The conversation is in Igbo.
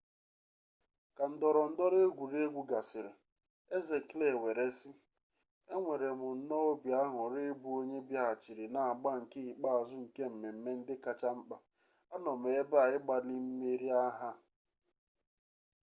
ka ndọrọ ndọrọ egwuregwu gasịrị eze kle were sị enwerem nnọọ obi añurị ịbụ onye bịaghachiri na agba nke ikpeazụ nke mmemme ndị kacha mkpa a nọ m ebe a ịgbalị imeri ihe a